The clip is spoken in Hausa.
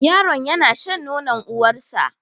Yaron yana shan nonor uwar sa